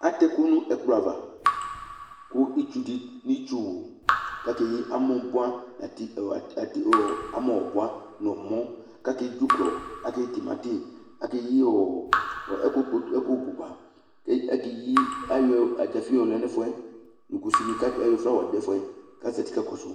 atɛ ɛkʊ nʊ ɛkplɔ ava nʊ itsuwu, kʊ akeyi amɔ bua, dzuklɔ, timati, akeyi ɛkʊ kpoto, ayɔ kusi yɔ lɛ nʊ ɛfʊ yɛ, kʊ istusɔlɔ dʊ ɛfʊ yɛ kʊ azati kakɔsʊ